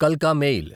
కల్కా mail